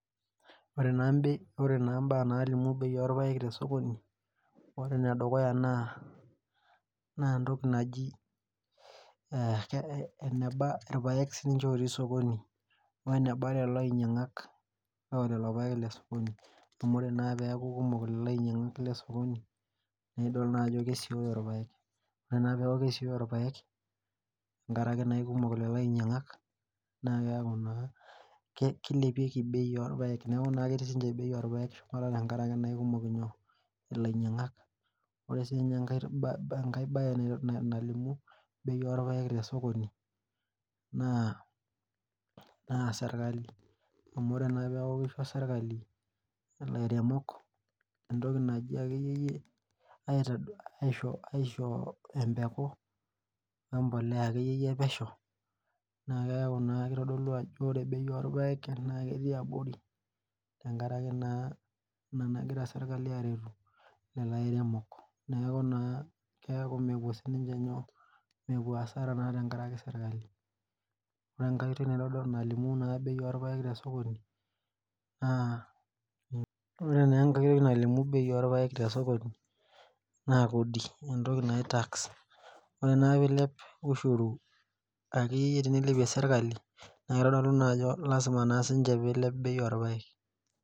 Ore naa mbaa naalimu bei orpaek tesoki ore enedukuya naa entoki naji enaba irpaek sii inche otii sokoni weneba lelo ainyiang'ak loo lelo paek le sokoni amu ore naa peeku kumok lelo ainyiang'ak lesokoni naa idol naa ajo kesiooyo irpaek ore naaa peeku kesioyo irpaek inkaraki naa eikumok lelo ainyiang'ak naa keeku naa keilepieki bei oorpaek naa keeku na ketii bei orpaek shumata tenkaraki keikumok ilainyiang'ak ore sii ninye enkae baye naalimu bei oorpaek tesokoni naa serkali amu ore naa peeku keisho serkali ilairemok entoki naji akeyie yie aisho empuku empolea akeyie pesho naa keeku naa keitodolu ajo ore bei orpaek naa ketii abori tenkaraki ina nagira serkali aaretu lelo airemok neeku naa keeku mepuo siininche hasara tenkaraki serkali ore enkae oitoi naitodolu nalimun naa bei orpaek tesokoni naa kodi entoki naji tax ore ake peeilep ushuru akeyie teneilepie serkali naa keitodolu ajo keilep bei orpaek.